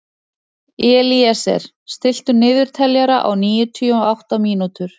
Elíeser, stilltu niðurteljara á níutíu og átta mínútur.